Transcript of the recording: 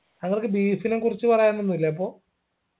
താങ്കൾക്ക് beef നെ കുറിച്ച് പറയാനൊന്നുല്ലേ അപ്പോ